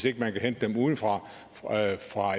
ikke kan hente dem ude fra